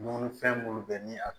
Dumunifɛn minnu bɛ ni a